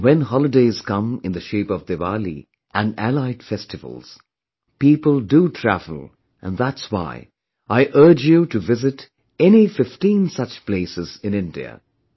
And when holidays come in the shape of Diwali and allied festivals, people do travel and that's why I urge you to visit any 15 such places in India